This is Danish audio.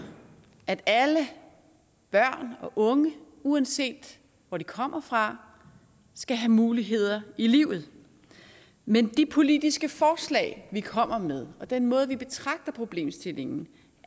at alle børn og unge uanset hvor de kommer fra skal have muligheder i livet men de politiske forslag vi kommer med og den måde vi betragter problemstillingen